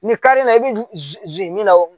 Nin kari la i bɛ zi min na o